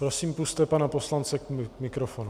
Prosím, pusťte pana poslance k mikrofonu.